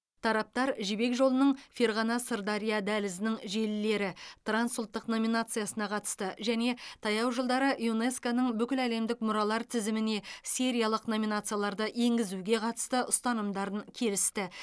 тараптар жібек жолының ферғана сырдария дәлізінің желілері трансұлттық номинациясына қатысты және таяу жылдары юнеско ның бүкіләлемдік мұралар тізіміне сериялық номинацияларды енгізуге қатысты ұстанымдарын келісті